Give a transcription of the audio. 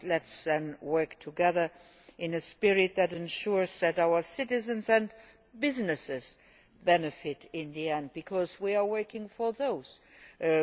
Let us work together in a spirit that ensures that our citizens and businesses benefit in the end, because we are working for them.